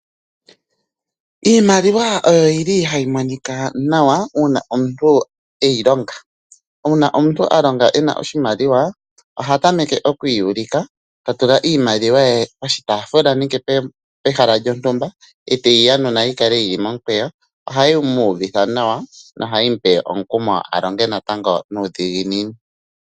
Iimaliwa oyo yili hayi monika nawa uuna omuntu eyi longa. Uuna omuntu a longa ena oshimaliwa ohatameke okwiiyulika tatula iimaliwa ye poshitaafula nenge pehala lyontumba eteyi yanuna yikale yili momukweyo. Ohayi mu uvitha nawa nohayi mupe omukumo a longe natango nuudhiginini.